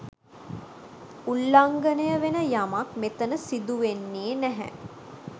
උල්ලංඝනය වෙන යමක් මෙතන සිදු වෙන්නේ නැහැ